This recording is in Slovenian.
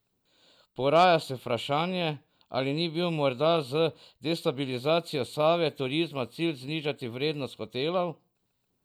Poraja se vprašanje, ali ni bil morda z destabilizacijo Save Turizma cilj znižati vrednost hotelov?